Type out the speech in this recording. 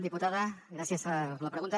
diputada gràcies per la pregunta